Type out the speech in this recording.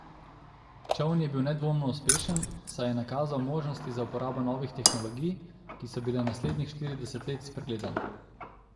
Čoln je bil nedvomno uspešen, saj je nakazal možnosti za uporabo novih tehnologij, ki so bile naslednjih štirideset let spregledane.